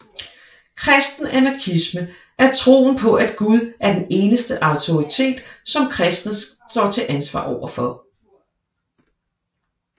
Kristen anarkisme er troen på at Gud er den eneste autoritet som kristne står til ansvar overfor